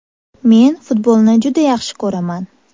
Men futbolni juda yaxshi ko‘raman.